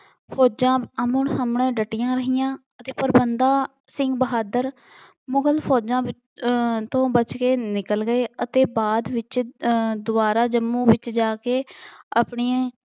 ਫੋਜਾਂ ਆਹਮੋ ਸਾਹਮਣੇ ਡਟੀਆਂ ਰਹੀਆਂ ਅਤੇ ਪਰ ਬੰਦਾ ਸਿੰਘ ਬਹਾਦਰ ਮੁਗਲ ਫੌਜ਼ ਵਿ ਅਹ ਤੋਂ ਬੱਚ ਕੇ ਨਿਕਲ ਗਏ ਅਤੇ ਬਾਅਦ ਵਿੱਚ ਅਹ ਦੁਬਾਰਾ ਜੰਮੂ ਵਿੱਚ ਜਾ ਕੇ ਆਪਣੇ